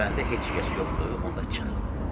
Görəndə heç kəs yoxdur, onda çıx.